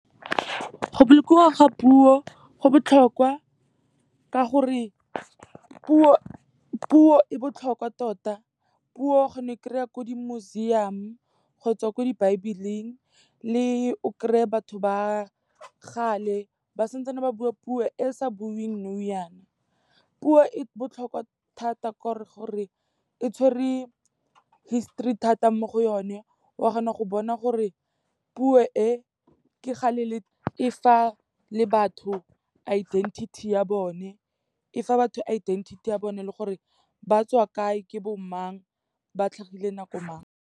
Go bolokiwa ga puo go botlhokwa ka gore puo e botlhokwa tota, puo o kgona go e kry-a ko di-museum kgotsa ko di baebeleng. Le o kry-e batho ba gale ba sa ntse ba bua puo e e sa buiweng nou yaana. Puo e botlhokwa thata ka gore e tshwere histori thata mo go yone. O kgona go bona gore puo e ke kgale e fa le batho identity ya bone, e fa batho identity ya bone le gore ba tswa kae, ke bo mang, ba tlhagile nako mang.